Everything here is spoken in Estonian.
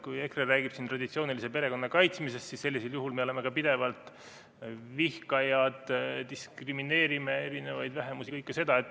Kui EKRE räägib traditsioonilise perekonna kaitsmisest, siis sellisel juhul me oleme pidevalt vihkajad, diskrimineerime erinevaid vähemusi – kõike seda.